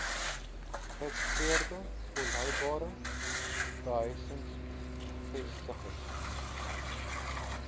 geïntegreerde volhoubare behuisingsvestigings